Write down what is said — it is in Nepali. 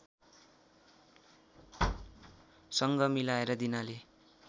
सँग मिलाएर दिनाले